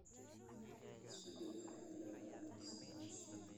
Isbeddelka cimilada ayaa saameeya shinnida.